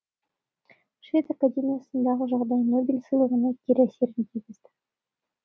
швед академиясындағы жағдай нобель сыйлығына кері әсерін тигізді